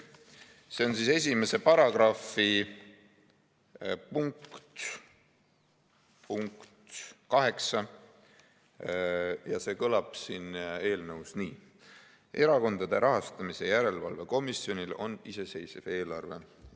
See on § 1 punktis 8 ja see kõlab siin eelnõus nii: "Erakondade rahastamise järelevalve komisjonil on iseseisev eelarve.